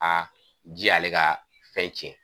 ji y'ale ka fɛn cɛn